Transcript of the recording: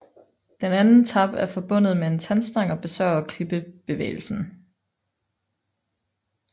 Den anden tap er forbundet med en tandstang og besørger kippebevægelsen